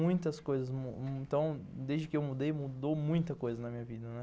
Muitas coisas, desde que eu mudei, mudou muita coisa na minha vida, né.